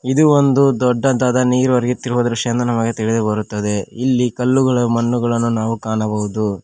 ಇದು ಒಂದು ದೊಡ್ಡದಾದ ನೀರು ಹರಿಯುತ್ತಿರುವ ದೃಶ್ಯ ಎಂದು ನಮಗೆ ತಿಳಿದು ಬರುತ್ತದೆ ಇಲ್ಲಿ ಕಲ್ಲುಗಳು ಮಣ್ಣುಗಳನ್ನು ನಾವು ಕಾಣಬಹುದು.